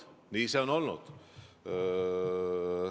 Nii see on olnud.